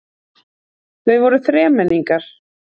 Þau voru þremenningar.